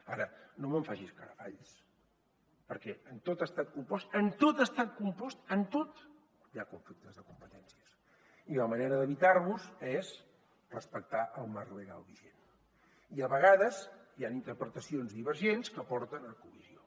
ara no me’n faci escarafalls perquè en tot estat compost en tot estat compost en tot hi ha conflictes de competències i la manera d’evitar los és respectar el marc legal vigent i a vegades hi han interpretacions divergents que porten a col·lisió